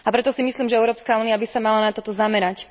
A preto si myslím, že Európska únia by sa mala na toto zamerať.